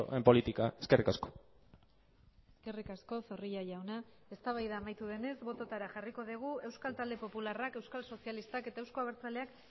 en política eskerrik asko eskerrik asko zorrilla jauna eztabaida amaitu denez bototara jarriko dugu euskal talde popularrak euskal sozialistak eta euzko abertzaleak